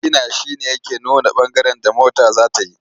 Sigina shi ne yake nuna ɓangaren da mota za ta yi.